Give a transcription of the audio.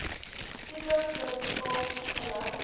tipe publikasie gelys